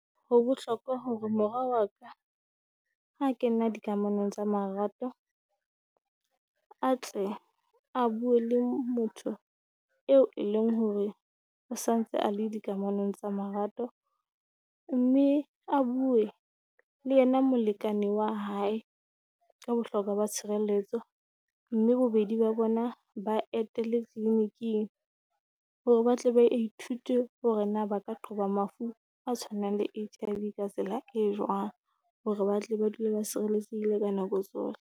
Ho bohlokwa hore morwa wa ka ha ke nna di kamanong tsa marato, a tle a bue le motho eo e leng hore o sa ntse a le di kamanong tsa marato. Mme a bue le yena molekane wa hae ka bohlokwa ba tshireletso, mme bobedi ba bona ba etele tleniking. Hore ba tle ba ithute hore na ba ka qhoba mafu a tshwanang le H_I_V ka tsela e jwang, hore ba tle ba dule ba sireletsehile ka nako tsohle.